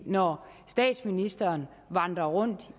når statsministeren vandrer rundt